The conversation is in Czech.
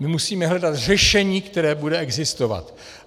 My musíme hledat řešení, které bude existovat.